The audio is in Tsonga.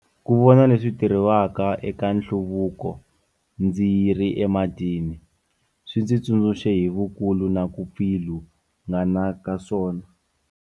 Ku vona leswi tirhiwaka eka hlaluko ndzi ri ematini, swi ndzi tsundzuxe hi vukulu na ku pfilungana ka swona.